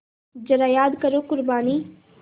ज़रा याद करो क़ुरबानी